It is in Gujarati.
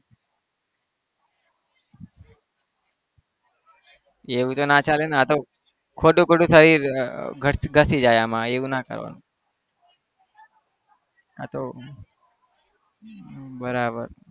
એવું તો ના ચાલે ને આતો ખોટું ખોટું શરીર ગસાઈ જાય આમાં એવું ના કરવાનું આ તો બરાબર